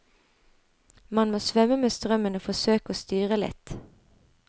Man må svømme med strømmen og forsøke å styre litt.